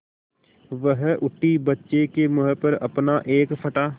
वह उठी बच्चे के मुँह पर अपना एक फटा